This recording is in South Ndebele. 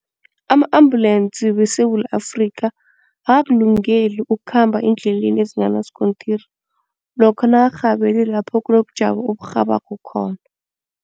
Ama-ambulensi weSewula Afrikha akakulungeli ukukhamba eendleleni ezinganasikontiri lokha nakarhabele lapho kunobujamo oburhabako khona.